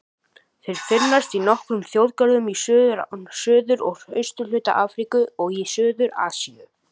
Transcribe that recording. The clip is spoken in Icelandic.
Þeir finnast í nokkrum þjóðgörðum í suður- og austurhluta Afríku og í suður-Asíu.